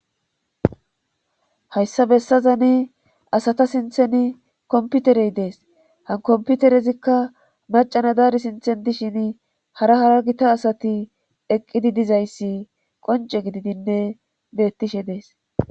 Hayssa bessazani asata siinththen komputerey dees han komputerezikka macana daari siinththen dishin hara hara gita asati eqqidi dizayssi qonce gididinne beettishe dees